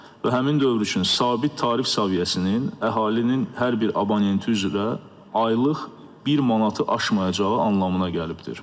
Və həmin dövr üçün sabit tarif səviyyəsinin əhalinin hər bir abunəti üzrə aylıq bir manatı aşmayacağı anlamına gəlibdir.